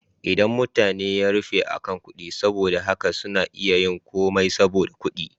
Idon mutane ya rufe akan kuɗi, saboda haka suna iya yin komai saboda kuɗi.